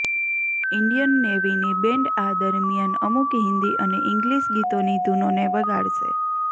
Indian નેવીની band આ દરમિયાન અમુક હિંદી અને ઈંગ્લિશ ગીતોની ધૂનોને વગાડશે